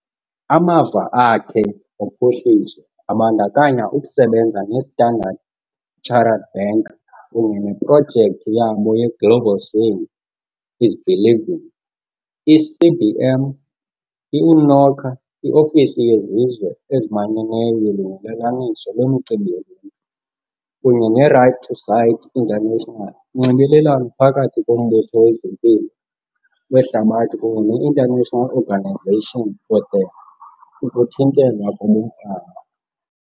Amava akhe ophuhliso abandakanya ukusebenza ne-Standard Chartered Bank kunye neprojekthi yabo ye-Global Seeing is Believing, i-CBM, i-UNOCHA, i-Ofisi yeZizwe eziManyeneyo yoLungelelaniso lweMicimbi yoLuntu, kunye ne-Right to Sight International, uNxibelelwano phakathi koMbutho wezeMpilo weHlabathi kunye ne-International Organization for the Ukuthintelwa kobumfama.